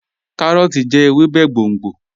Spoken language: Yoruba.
Kàróòtì jẹ̀ èwèbé gbóngbó.